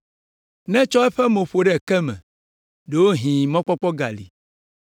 Netsɔ eƒe mo ƒo ɖe ke me, ɖewohĩ mɔkpɔkpɔ gali.